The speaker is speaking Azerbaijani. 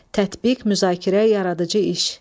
Tətbiq, müzakirə, yaradıcı iş.